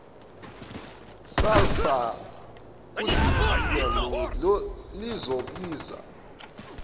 sulphur kudizili lizobiza